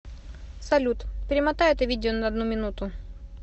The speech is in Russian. салют перемотай это видео на одну минуту